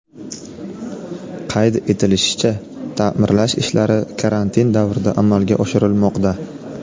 Qayd etilishicha, ta’mirlash ishlari karantin davrida amalga oshirilmoqda.